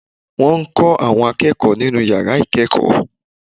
Wọ́n n kó àwọn akéèkòó nínú yàrá ìkéèkó